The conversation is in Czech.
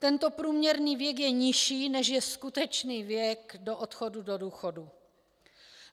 Tento průměrný věk je nižší, než je skutečný věk do odchodu do důchodu.